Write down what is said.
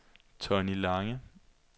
Tonni Lange